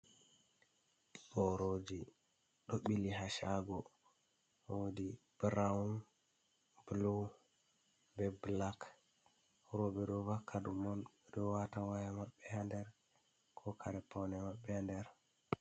Boroji ɗo ɓili ha shago, wodi brawn, blu, be black, roɓɓe ɗo vaka ɗum on, ɗo wata waya maɓɓe ha nder, ko kare paune maɓbe ha nder.